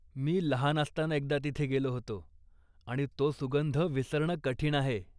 मी लहान असताना एकदा तिथे गेलो होतो आणि तो सुगंध विसरणं कठीण आहे.